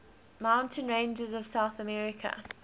mountain ranges of south america